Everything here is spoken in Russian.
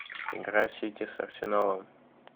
игра сити с арсеналом